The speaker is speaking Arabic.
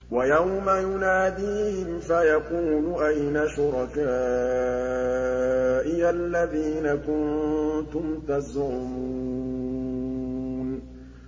وَيَوْمَ يُنَادِيهِمْ فَيَقُولُ أَيْنَ شُرَكَائِيَ الَّذِينَ كُنتُمْ تَزْعُمُونَ